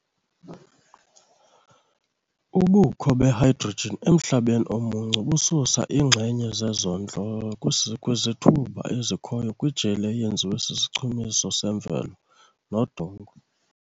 Ubukho be-hydrogen emhlabeni omuncu bususa iinxenye zezondlo kwizithuba ezikhoyo kwijeli eyenziwa sisichumiso semvelo nodongwe.